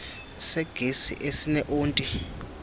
segesi esine onti